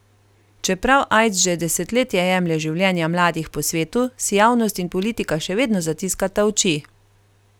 Čeprav aids že desetletje jemlje življenja mladih po svetu, si javnost in politika še vedno zatiskata oči.